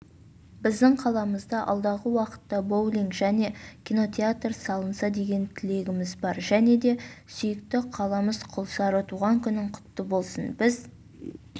біздің қаламызда алдағы уақытта боулинг және кинотеатр салынса деген тілегіміз бар және де сүйікті қаламыз құлсары туған күнің құтты болсын біз